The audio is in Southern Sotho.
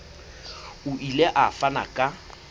o ile a fana ka